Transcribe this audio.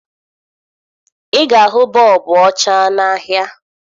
Ị ga-ahụ bọọbụ ọcha n'ahịa